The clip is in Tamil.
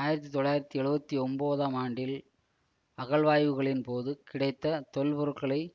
ஆயிரத்தி தொள்ளாயிரத்தி எழுவத்தி ஒன்பதாம் ஆண்டில் அகழ்வாய்வுகளின் போது கிடைத்த தொல்பொருட்களைச்